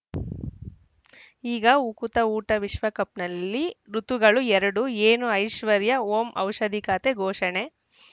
ಈಗ ಉಕುತ ಊಟ ವಿಶ್ವಕಪ್‌ನಲ್ಲಿ ಋತುಗಳು ಎರಡು ಏನು ಐಶ್ವರ್ಯಾ ಓಂ ಔಷಧಿ ಖಾತೆ ಘೋಷಣೆ